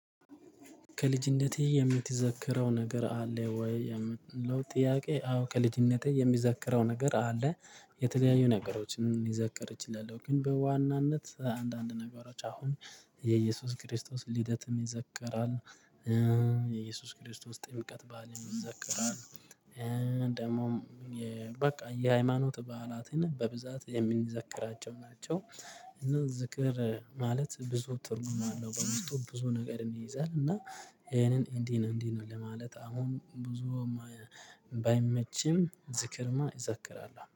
ከልጅነቴ የምትዘክረው ነገር አለ ወይ የሚለው ጥያቄ? አዎ ከልጅነቴ የሚዘክረው ነገር አለ። የተለያዩ ነገሮችን የሚዘከር ይችላል ግን በዋናነት አንዳንድ ነገሮች አሁን የኢየሱስ ክርስቶስ ልደትም ይዘከራል። የኢየሱስ ክርስቶስ ጥምቀት በዓልም ይዘከራል ይዘክራል። ደግሞ በቃ የሃይማኖት በዓላትን በብዛት የሚዘክራቸው ናቸው። እና ዝክር ማለት ብዙ ትርጉም አለው በውስጡ ብዙ ነገር ይይዛል። እና ይሄንን እንዲህ ነው እንዲህ ነው ለማለት አሁን ብዙም ባይመችም ዝክርማ እዛክራለሁ